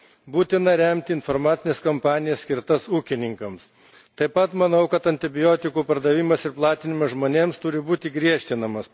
Būtina remti informacines kampanijas, skirtas ūkininkams. Taip pat manau, kad antibiotikų pardavimas ir platinimas žmonėms turi būti griežtinimas.